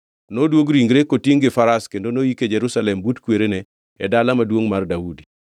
Noduog ringre kotingʼ gi faras kendo noyike Jerusalem but kwerene e Dala Maduongʼ mar Daudi.